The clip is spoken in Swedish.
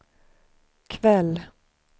kväll